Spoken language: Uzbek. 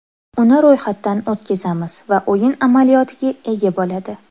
Uni ro‘yxatdan o‘tkazamiz va o‘yin amaliyotiga ega bo‘ladi.